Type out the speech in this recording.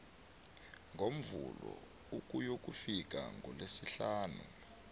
ngomvulo ukuyokufika kulesihlanu